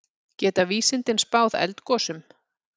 Geta vísindin spáð eldgosum?